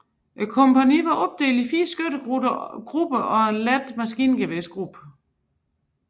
Kompagniet var opdelt i fire skyttegrupper og en let maskingeværgruppe